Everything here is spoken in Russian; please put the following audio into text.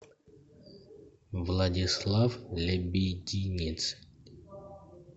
владислав лебединец